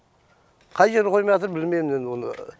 қай жер қоймаяатыр білмеймін енді оны